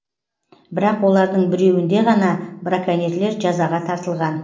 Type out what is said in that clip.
бірақ олардың біреуінде ғана браконьерлер жазаға тартылған